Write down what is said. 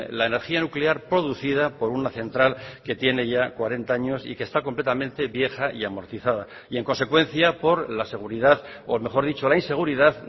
la energía nuclear producida por una central que tiene ya cuarenta años y que está completamente vieja y amortizada y en consecuencia por la seguridad o mejor dicho la inseguridad